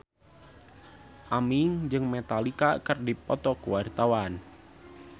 Aming jeung Metallica keur dipoto ku wartawan